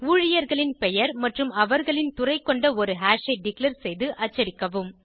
ஊழியர்களின் பெயர் மற்றும் அவர்களின் துறை கொண்ட ஒரு ஹாஷ் ஐ டிக்ளேர் செய்து அச்சடிக்கவும்